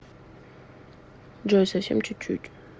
джой совсем чуть чуть